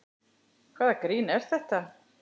Hvaða grín er það?